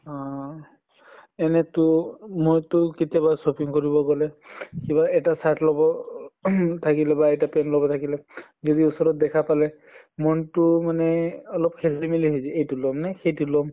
অহ এনেতো মইটো কেতিয়াবা shopping কৰিব গʼলে কিবা এটা shirt লʼব ing থাকিলে বা এটা pant লʼব থাকিলে যদি ওচৰত দেখা পালে মন টো মানে অলপ খেলিমেলি হয় যায়। এইটো লম নে সেইটো লম।